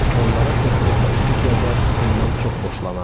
Onlara tez-tez məktub yazar, bundan çox xoşlanardı.